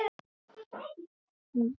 Þetta var orðið normið.